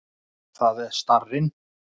Það er starrinn.